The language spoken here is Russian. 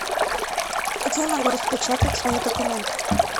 где я могу распечатать свои документы